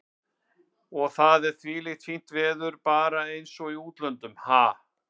Og það er þvílíkt fínt veður og bara eins og í útlöndum, ha?